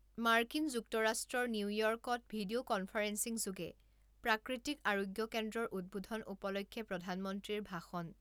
মাৰ্কিন যুক্তৰাষ্ট্ৰৰ নিউইয়ৰ্কত ভিডিঅ' কনফাৰেন্সিং যোগে প্ৰাকৃতিক আৰোগ্য কেন্দ্ৰৰ উদ্বোধন উপলক্ষে প্ৰধানমন্ত্ৰীৰ ভাষণ